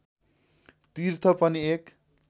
तीर्थ पनि एक